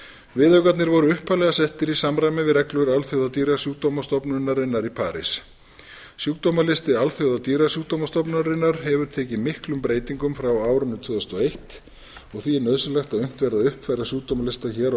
viðaukarnir voru upphaflega settir í samræmi við reglur alþjóða dýrasjúkdóma stofnunarinnar í parís sjúkdómalisti alþjóða dýrasjúkdóma stofnunarinnar hefur tekið miklum breytingum frá árinu tvö þúsund og eitt og því er nauðsynlegt að unnt verði að uppfæra sjúkdómalista hér á